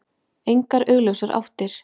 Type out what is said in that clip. Engar augljósar áttir.